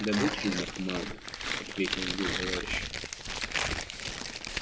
добычи у них мало ответил его товарищ